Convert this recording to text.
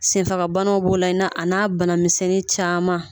Senfagabanaw b'o la a n'a banamisɛnnin caman